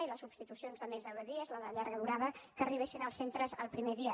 i les substitucions de més de deu dies la de llarga durada que arribessin als centres el primer dia